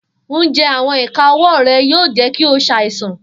Njẹ awọn ika ọwọ rẹ yoo jẹ ki o ṣaisan.